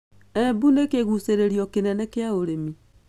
Embu nĩ kĩgucĩrĩrio kĩnene kĩa ũrĩmi.